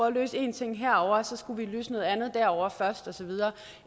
at løse en ting herovre så skulle vi løse noget andet derovre først og så videre